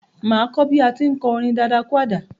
Mà á kọ́ bí à á ti ń kọ orin dadakúàdà.